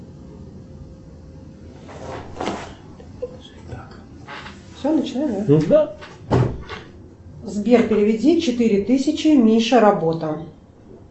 сбер переведи четыре тысячи миша работа